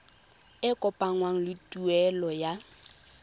e kopanngwang le tuelo ya